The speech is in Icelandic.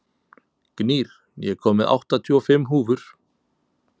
Gnýr, ég kom með áttatíu og fimm húfur!